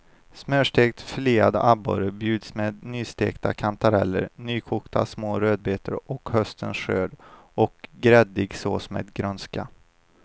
Smörstekt filead abborre bjuds med nystekta kantareller, nykokta små rödbetor av höstens skörd och gräddig sås med grönska.